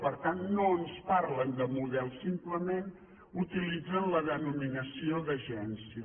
per tant no ens parlen de model simplement utilitzen la denominació d’agència